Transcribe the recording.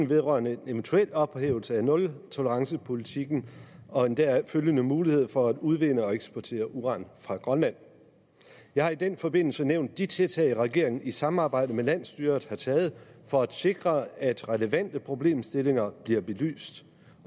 vedrørende en eventuel ophævelse af nultolerancepolitikken og den deraf følgende mulighed for at udvinde og eksportere uran fra grønland jeg har i den forbindelse nævnt de tiltag regeringen i samarbejde med landsstyret har taget for at sikre at relevante problemstillinger bliver belyst